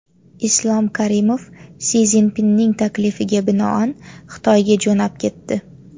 Islom Karimov Si Szinpinning taklifiga binoan Xitoyga jo‘nab ketdi.